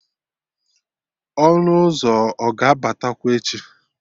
Ọnụ ụzọ ọ ga-abatakwa echi?